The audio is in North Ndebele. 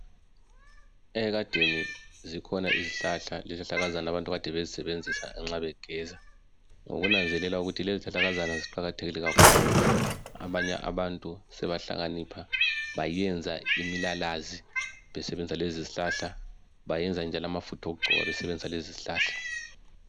Ekadeni zikhona izihlahla lezihlahlakazana abantu kade bezisebenzisa nxa begeza ngokunanzelela ukuthi lezi zihlahlakazana ziqakathekile kakhulu abanye abantu sebahlakanipha bayenza imilalazi besebenzisa lezizihlahla bayenza njalo amafutha okugcoba besebenzisa lezizihlahla.